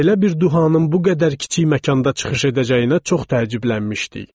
Belə bir duhanın bu qədər kiçik məkanda çıxış edəcəyinə çox təəccüblənmişdik.